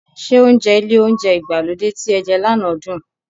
Ṣé oúnjẹ ilé oúnjẹ ìgbàlódé tí ẹ jẹ lànà dùn?